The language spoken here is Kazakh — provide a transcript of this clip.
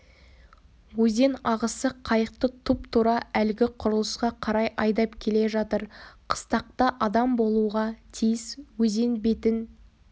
өзен ағысы қайықты тұп-тура әлгі құрылысқа қарай айдап келе жатыр қыстақта адам болуға тиіс өзен бетін